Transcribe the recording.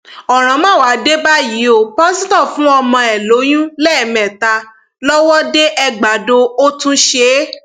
ọràn má wàá dé báyìí o pásítọ fún ọmọ ẹ lóyún lẹẹmẹta lọwọdeẹgbàdo ò tún ṣe é